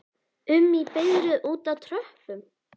um í biðröð úti á tröppum?